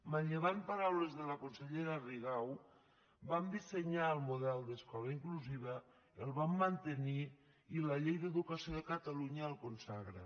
manllevant paraules de la consellera rigau vam dissenyar el model d’escola inclusiva el vam mantenir i la llei d’educació de catalunya el consagra